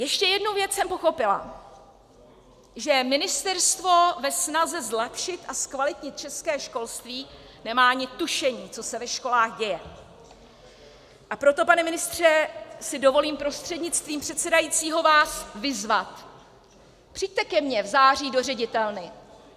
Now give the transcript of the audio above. Ještě jednu věc jsem pochopila - že ministerstvo ve snaze zlepšit a zkvalitnit české školství nemá ani tušení, co se ve školách děje, a proto, pane ministře, si dovolím prostřednictvím předsedajícího vás vyzvat: Přijďte ke mně v září do ředitelny.